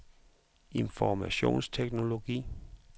informationsteknologi